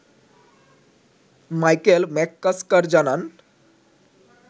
Michael McCusker জানান